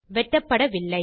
வெட்டப்படவில்லை